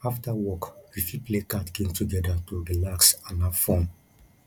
after work we fit play card game together to relax and have fun